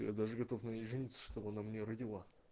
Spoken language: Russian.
я даже готов наебениться чтобы она мне родила